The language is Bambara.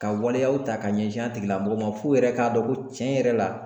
Ka waleyaw ta ka ɲɛsin a tigilamɔgɔ ma f'u yɛrɛ k'a dɔn ko cɛn yɛrɛ la